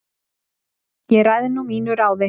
Ég ræð nú mínu ráði